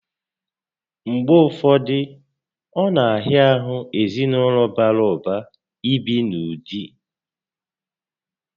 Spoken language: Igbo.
Mgbe ụfọdụ, ọ na ahịa ahụ ezinaụlọ bàrà ụba ibi n'ụdị